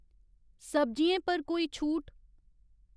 सब्जियें पर कोई छूट ?